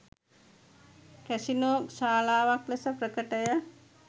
Casino ශාලාවක් ලෙස ප්‍රකටය.